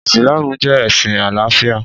Ìsìlámù jẹ́ ẹ̀sìn àlàáfíà